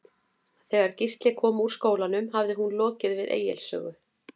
Þegar Gísli kom úr skólanum hafði hún lokið við Egils sögu.